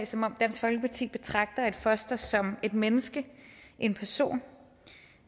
som om dansk folkeparti betragter et foster som et menneske en person